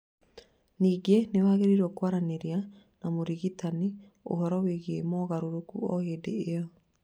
Ningĩ nĩ wagĩrĩirwo kwaranĩria na mũrigitani ũhoro wĩgiĩ mogarũrũku o hĩndĩ ĩyo